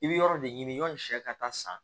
I bɛ yɔrɔ de ɲini yani sɛ ka taa san